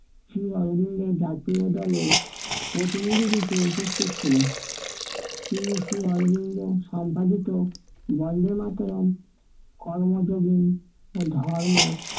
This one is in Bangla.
শ্রী অরবিন্দের জাতীয় দলের প্রতিনিধিরূপে উপস্থিত ছিলেন। তিনি শ্রী অরবিন্দ সম্পাদিত বন্দে মাতারাম কর্ম যোগে ও ধর্ম